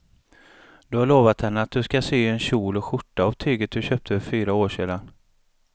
Du har lovat henne att du ska sy en kjol och skjorta av tyget du köpte för fyra år sedan.